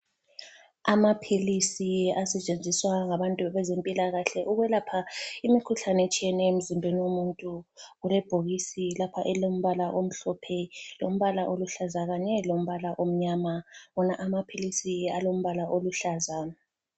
Amaphilisi asetshenziswa ngabantu bezempilakahle ukwelapha imikhuhlane etshiyeneyo emzimbeni womuntu. Kulebhokisi lapha elilombala omhlophe ,lombala oluhlaza kanye lombala omnyama. Wona amaphilisi alombala oluhlaza.